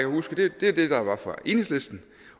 huske er det der var fra enhedslisten